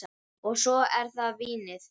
Og svo er það vínið.